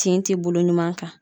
Tin ti bolo ɲuman kan.